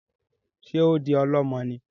Ṣe o ń di ọlọmọ ní?